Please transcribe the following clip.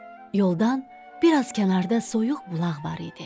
Yoldan biraz kənarda soyuq bulaq var idi.